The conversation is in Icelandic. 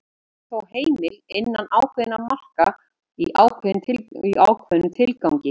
Hún er þó heimil innan ákveðinna marka og í ákveðnum tilgangi.